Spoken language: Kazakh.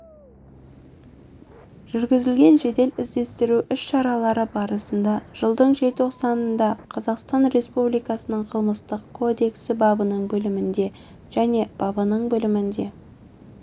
жүргізілген жедел іздестіру іс-шаралары барысында жылдың желтоқсанында қазақстан республикасының қылмыстық кодексі бабының бөлімінде және бабының бөлімінде